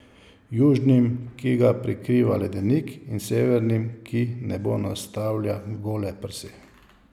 Južnim, ki ga prekriva ledenik, in severnim, ki nebu nastavlja gole prsi.